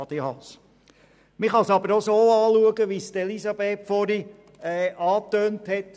Man kann es aber auch so betrachten, wie es Elisabeth Striffeler angetönt hat.